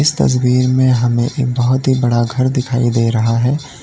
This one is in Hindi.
तस्वीर में हमें एक बहुत ही बड़ा घर दिखाई दे रहा है।